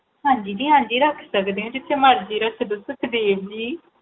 ਹਾਂਜੀ ਜੀ ਹਾਂਜੀ ਜੀ ਰੱਖ ਸਕਦੇ ਹੋ ਜਿੱਥੇ ਰੱਖੋ ਸੁਖਦੇਵ ਜੀ